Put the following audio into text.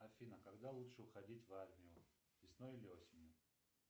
афина когда лучше уходить в армию весной или осенью